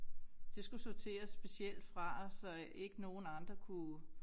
Det skulle sorteres specielt fra så ikke nogen andre kunne